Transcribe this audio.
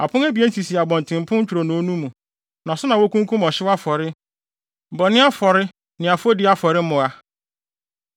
Apon abien sisi ntwironoo no akyi, atrapoe no nkyɛn mu fa ne fa a ɛrekɔ atifi fam pon no ano hɔ.